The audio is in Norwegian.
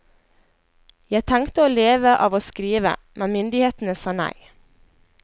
Jeg tenkte å leve av å skrive, men myndighetene sa nei.